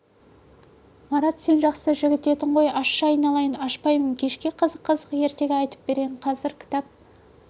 марат сен жақсы жігіт едің ғой ашшы айналайын ашпаймын кешке қызық-қызық ертегі айтып берейін қазір кітап